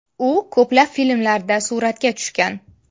U ko‘plab filmlarda suratga tushgan.